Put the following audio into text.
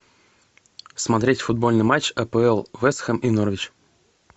смотреть футбольный матч апл вест хэм и норвич